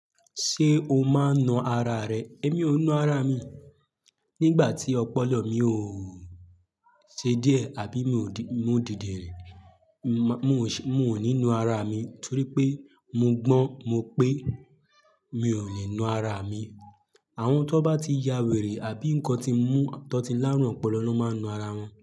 Ṣé o máa ń na ara rẹ? Èmi ò ń na ara mi. Nígbà tí ọpọlọ mi ò ṣe díẹ̀ àbí mi ò dìndinrin mo ò ní na ara mi torí pé mo gbọ́n mo pé mi ò lè na ara mi. Àwọn tó bá ti ya wèrè àbí nǹkan tí mú tan ti láárùn ọpọlọ na máa ń na ara wọn.